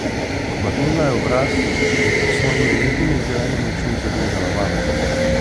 Odmaknila je obraz in se s svojimi lepimi, zelenimi očmi zagledala vame.